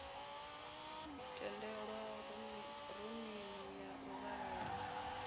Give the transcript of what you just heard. tendelwa rumuni ya u vhalela